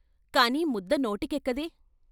కాని ముద్ద నోటికి ఎక్కదే.